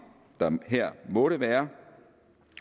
der her måtte være